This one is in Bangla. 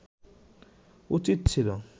উচিৎ ছিলো